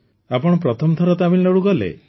ଆପଣ ପ୍ରଥମ ଥର ତାମିଲନାଡୁ ଗଲେ